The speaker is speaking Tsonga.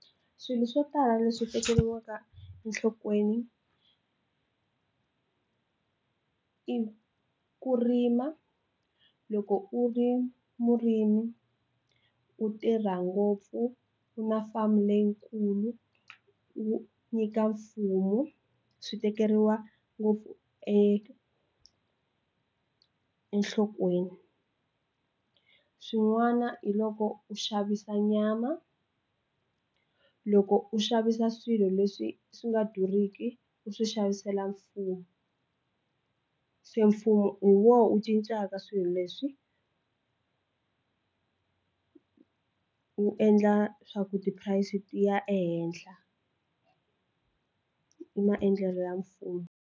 Swilo swo tala leswi tekeriwaka enhlokweni i ku rima loko u ri murimi ku tirha ngopfu ku na farm leyikulu wu nyika mfumo swi tekeriwa ngopfu enhlokweni swin'wana hi loko u xavisa nyama loko u xavisa swilo leswi swi nga durhiki u swi xavisela mfumo se mfumo hi wona wu cincaka swilo leswi wu endla swa ku price ti ya ehenhla i maendlelo ya mfumo.